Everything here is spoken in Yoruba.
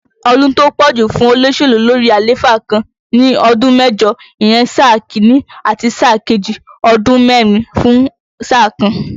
Ọdún tó pọ̀ jù fún olóṣèlú lórí àléfà kan ni ọdún mẹ́jọ, ìyẹn sáà Kínní àti sáà kejì, ọdún mẹ́rin fún sáà kan